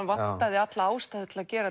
vantaði alla ástæðu til að gera